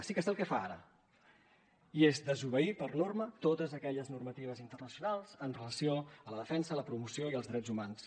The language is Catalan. sí que sé el que fa ara i és desobeir per norma totes aquelles normatives internacionals en relació amb la defensa i la promoció dels drets humans